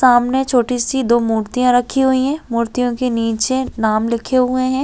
सामने छोटी सी दो मूर्तियां रखी हुई है मूर्तियां के नीचे नाम लिखें हुए है।